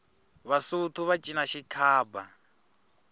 vasotho va cina xikhaba